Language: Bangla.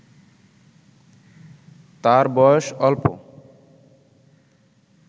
তার বয়স অল্প